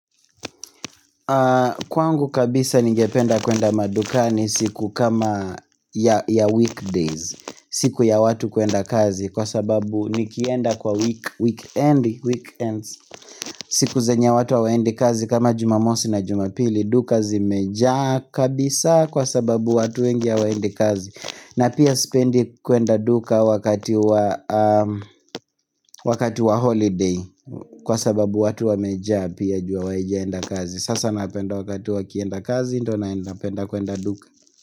Kwangu kabisa ningependa kwenda madukani siku kama ya weekdays siku ya watu kwenda kazi kwa sababu nikienda kwa weekend siku zenye watu hawaendi kazi kama jumamosi na jumapili dukazi mejaa kabisa kwa sababu watu wengi wa endi kazi na pia spendi kuenda duka wakati wa holiday kwa sababu watu wa mejaa pia jua hawajaenda kazi Sasa napenda wakatu wa kienda kazi Ndona napenda kuenda duka.